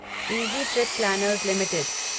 easy trip planners limited